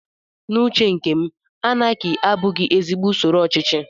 N'uche nke m, anaki abụghị ezigbo usoro ochichi